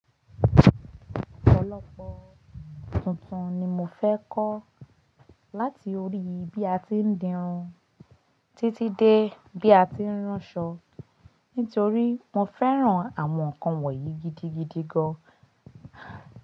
Ọ̀pọ̀lọpọ̀ tuntun ni mo fẹ́ kọ́ láti orí i bí a ti ń dirun títí dé bí a ti ń ránṣọ nítorí mo fẹ́ràn àwọn nǹkan wọ̀nyí gidigidi gan.